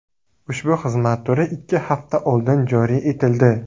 Ushbu xizmat turi ikki hafta oldin joriy etildi.